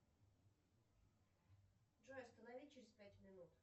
джой останови через пять минут